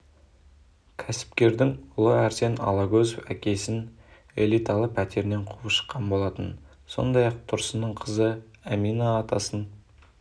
кәсіпкердің ұлы әрсен алагөзов әкесін элиталы пәтерінен қуып шыққан болатын сондай-ақ тұрсынның қызы әмина атасын